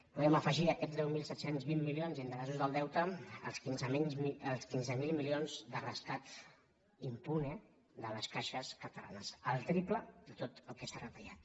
podem afe·gir a aquests deu mil set cents i vint milions d’interessos del deute els quinze mil milions de rescat impune de les caixes cata·lanes el triple de tot el que s’ha retallat